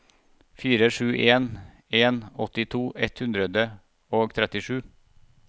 fire sju en en åttito ett hundre og trettisju